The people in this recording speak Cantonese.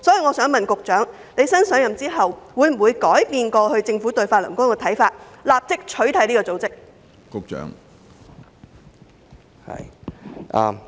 我想問新任局長，會否改變政府過去對法輪功的看法，立即取締這個組織？